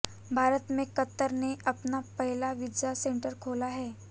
भारत में कतर ने अपना पहला वीजा सेंटर खोला है